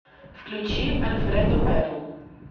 включи альфредо перл